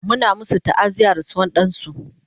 Muna masu ta'aziyar rasuwar dansu